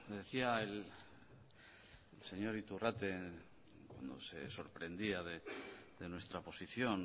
decía el señor iturrate se sorprendía de nuestra posición